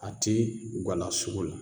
A ti guwala la sugu la